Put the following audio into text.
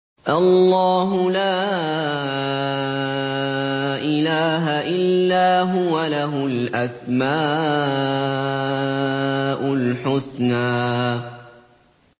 اللَّهُ لَا إِلَٰهَ إِلَّا هُوَ ۖ لَهُ الْأَسْمَاءُ الْحُسْنَىٰ